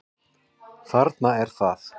Þarna er það!